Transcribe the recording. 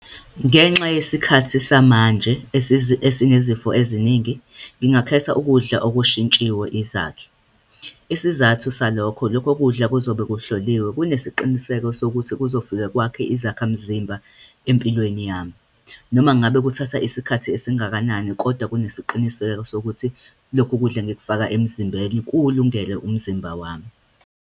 Ngenxa yesikhathi samanje esinezifo eziningi, ngingakhetha ukudla okushintshiwe izakhi. Isizathu salokho, lokho kudla kuzobe kuhloliwe, kunesiqiniseko sokuthi kuzofika kwakhe izakhamzimba empilweni yami. Noma ngabe kuthatha isikhathi esingakanani, kodwa kunesiqiniseko sokuthi lokhu kudla engikufaka emzimbeni kuwulungele umzimba wami.